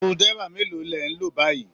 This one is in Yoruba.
Screw driver mélòó ni ẹ̀ ń lò báyìí